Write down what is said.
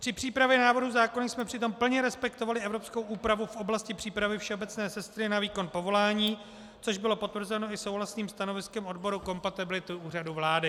Při přípravě návrhu zákona jsme přitom plně respektovali evropskou úpravu v oblasti přípravy všeobecné sestry na výkon povolání, což bylo potvrzeno i souhlasným stanoviskem odboru kompatibility Úřadu vlády.